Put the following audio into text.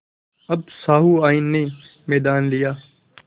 अब सहुआइन ने मैदान लिया